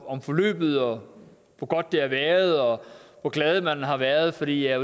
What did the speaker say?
om forløbet og hvor godt det har været og hvor glad man har været fordi jeg